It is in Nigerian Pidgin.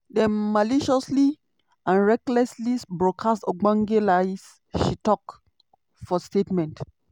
dem "maliciously and recklessly broadcast ogbonge lies" she tok for statement.